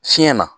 Fiɲɛ na